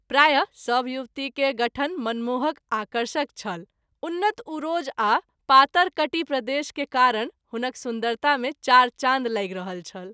प्राय: सभ युवती के गठन मनमोहक आकर्षक छल उन्नत उरोज आ पातर कटि प्रदेश के कारण हुनक सुन्दरता मे चार चाँद लागि रहल छल।